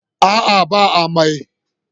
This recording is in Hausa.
A'a ba amai.